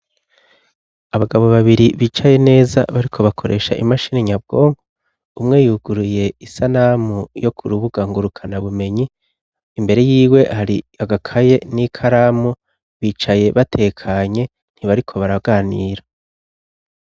Abagabo babiri bicaye neza bariko bakoresha imashini nyabwongo umwe yuguruye isanamu yo ku rubuga ngurukana bumenyi imbere yiwe hari agakaye n'i karamu bicaye batekanye ntibariko baraganira.